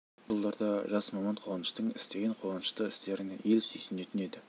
әрине бұл жылдарда жас маман қуаныштың істеген қуанышты істеріне ел сүйсінетін еді